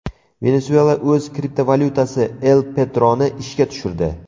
Venesuela o‘z kriptovalyutasi El Petro‘ni ishga tushirdi.